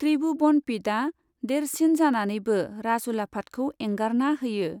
त्रिभुबन'पिडआ देरसिन जानानैबो राजउलाफादखौ एंगारना होयो।